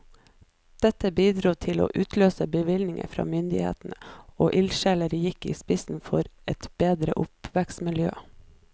Dette bidro til å utløse bevilgninger fra myndighetene, og ildsjeler gikk i spissen for et bedre oppvekstmiljø.